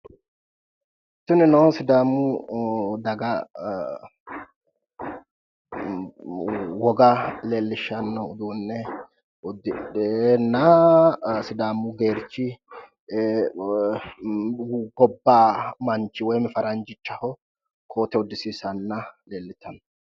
tinino sidaamu daga woga leellishshanno uduunne udidhena sidaamu geerchi gobba manchi woyimi faranjichaho koote uddisiisanna leellitanno.